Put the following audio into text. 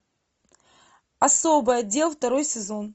особый отдел второй сезон